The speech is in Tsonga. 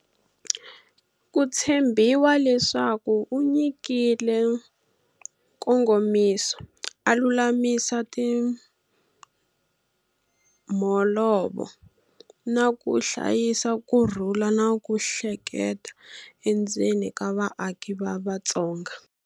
Ku tshembiwa leswaku u nyikile nkongomiso, a lulamisa timholovo, na ku hlayisa ku rhula na ku hleleka endzeni ka vaaki va Vatsonga.